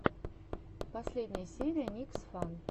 последняя серия никсфан